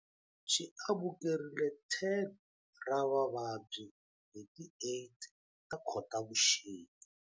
Xi amukerile 10 ra vavabyi hi ti 8 ta Khotavuxika.